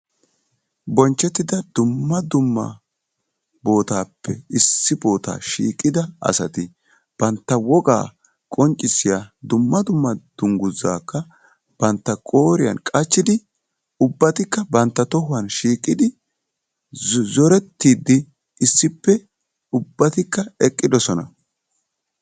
bonchchetida dumma dumma bootappe issi boota shiiqqida asati duma dumma dungguzakka bantta qooriyaan qachchidi ubbatikka bantta tohuwan shiiqidi zooretidde issippe ubbatikka eqqidoosona.